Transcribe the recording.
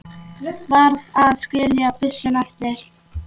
Varð að skilja byssuna eftir.